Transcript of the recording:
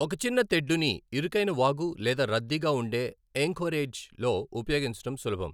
ఒక చిన్న తెడ్డుని ఇరుకైన వాగు లేదా రద్దీగా ఉండే ఏంకోరెజ్ లో ఉపయోగించడం సులభం.